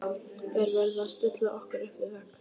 Er verið að stilla okkur upp við vegg?